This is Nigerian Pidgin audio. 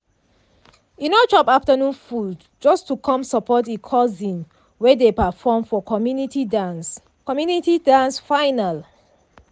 e no chop afternoon food just to come support e cousin wey dey perform for community dance community dance final.